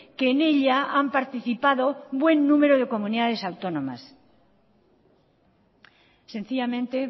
que en ella han participado buen número de comunidades autónomas sencillamente